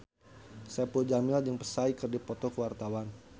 Saipul Jamil jeung Psy keur dipoto ku wartawan